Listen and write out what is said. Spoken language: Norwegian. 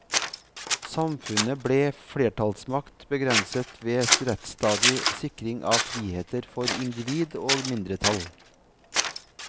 Samfunnet ble flertallsmakt begrenset ved rettsstatlig sikring av friheter for individ og mindretall.